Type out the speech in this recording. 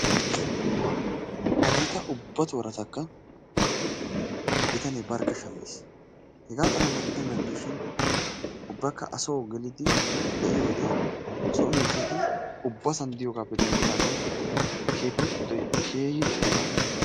Hagetta ubba torattakka bitanne barkka shammis, hegga xalalla gidennani dishshin ubbakka asso gelliddi be'iyodde so miishshatti ubbassan diyoggappe dendidaagan keetta giddoy keehi lo"ees aage.